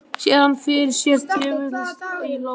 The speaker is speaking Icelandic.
Sér hana fyrir sér djöflast í lóðunum.